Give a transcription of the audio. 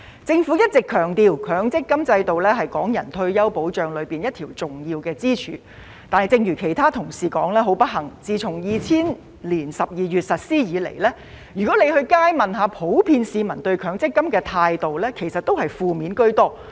政府一直強調，強積金制度是港人退休保障其中一條重要支柱，但正如其他同事所說，很不幸地自從2000年12月實施以來，如果在街上問市民普遍對強積金的態度，其實也是負面居多。